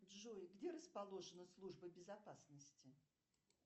джой где расположена служба безопасности